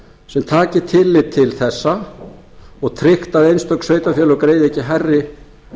sem taki tillit til þessa og tryggt að einstök sveitarfélög greiði ekki hærri